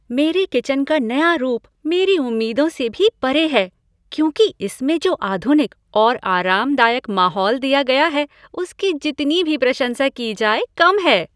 मेरी किचन का नया रूप मेरी उम्मीदों से भी परे है क्योंकि इसमें जो आधुनिक और आरामदायक माहौल दिया गया है उसकी जितनी भी प्रशंसा की जाए कम है।